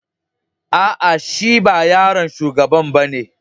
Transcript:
Aa, shi ba yaron shugaban ba ne?